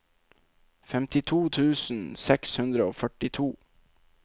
femtito tusen seks hundre og førtito